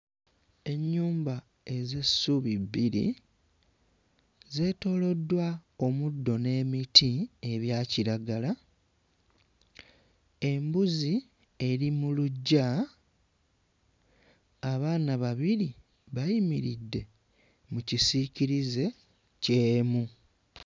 Ennyumba ez'essubi bbiri zeetooloddwa omuddo n'emiti ebya kiragala. Embuzi eri mu luggya. Abaana babiri bayimiridde mu kisiikirize ky'emu.